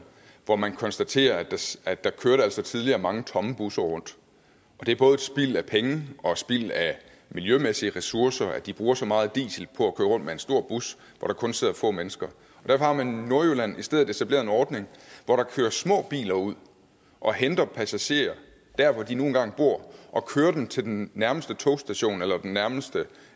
hvor man konstaterede at der altså tidligere kørte mange tomme busser rundt og det er både spild af penge og spild af miljømæssige ressourcer at de bruger så meget diesel på at køre rundt med en stor bus hvor der kun sidder få mennesker derfor har man i nordjylland i stedet etableret en ordning hvor der kører små biler ud og henter passagerer dér hvor de nu engang bor og kører dem til den nærmeste togstation eller det nærmeste